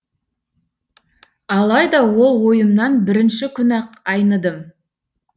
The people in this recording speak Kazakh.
алайда ол ойымнан бірінші күні ақ айныдым